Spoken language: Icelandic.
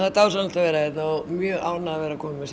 dásamlegt að vera hérna og ég mjög ánægð að vera komin með